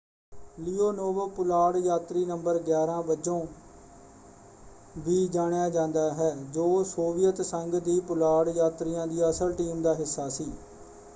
Leonov ਪੁਲਾੜ ਯਾਤਰੀ ਨੰ. 11” ਵਜੋਂ ਵੀ ਜਾਣਿਆ ਜਾਂਦਾ ਹੈ ਜੋ ਸੋਵੀਅਤ ਸੰਘ ਦੀ ਪੁਲਾੜ ਯਾਤਰੀਆਂ ਦੀ ਅਸਲ ਟੀਮ ਦਾ ਹਿੱਸਾ ਸੀ।